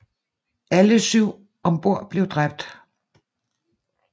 Alle syv om bord blev dræbt